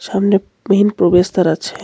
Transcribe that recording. সামনে মেইন প্রবেশদ্বার আছে.